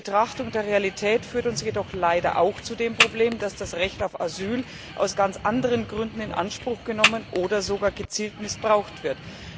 Die Betrachtung der Realität führt uns jedoch leider auch zu dem Problem, dass das Recht auf Asyl aus ganz anderen Gründen in Anspruch genommen oder sogar gezielt missbraucht wird.